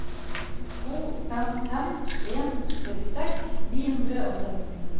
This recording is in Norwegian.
to fem fem en trettiseks ni hundre og sytten